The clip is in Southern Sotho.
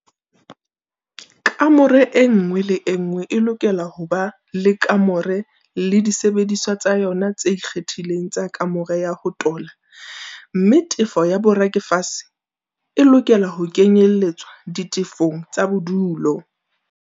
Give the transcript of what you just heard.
Kamore enngwe le enngwe e lokela ho ba le kamore le disebediswa tsa yona tse ikgethileng tsa kamore ya ho tola mme tefo ya borakafese e lokela ho kenyelletswa ditefong tsa bodulo.